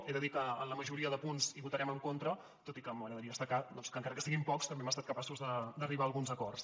he de dir que en la majoria de punts votarem en contra tot i que m’agradaria destacar doncs que encara que siguin pocs també hem estat capaços d’arribar a alguns acords